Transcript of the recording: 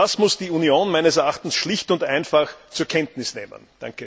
Und das muss die Union meines Erachtens schlicht und einfach zur Kenntnis nehmen.